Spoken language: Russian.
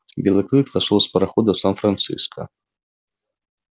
белый клык сошёл с парохода в сан франциско